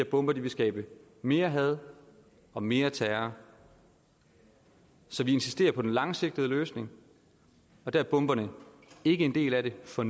bomber vil skabe mere had og mere terror så vi insisterer på den langsigtede løsning og der er bomberne ikke en del af det for